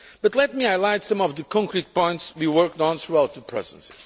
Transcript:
Let me highlight some of the concrete points we worked on throughout the Presidency.